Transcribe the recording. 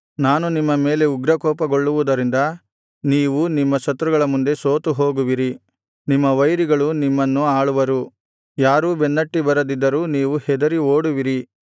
ನಾನು ನಿಮ್ಮ ಮೇಲೆ ಉಗ್ರಕೋಪಗೊಳ್ಳುವುದರಿಂದ ನೀವು ನಿಮ್ಮ ಶತ್ರುಗಳ ಮುಂದೆ ಸೋತು ಹೋಗುವಿರಿ ನಿಮ್ಮ ವೈರಿಗಳು ನಿಮ್ಮನ್ನು ಆಳುವರು ಯಾರೂ ಬೆನ್ನಟ್ಟಿ ಬರದಿದ್ದರು ನೀವು ಹೆದರಿ ಓಡುವಿರಿ